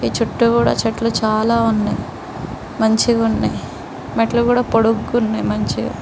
ఈ చుట్టూ కూడా చెట్లు చాలా ఉన్నాయి మంచిగున్నాయి మెట్లు కూడా పొడుగ్గున్నాయి మంచిగా.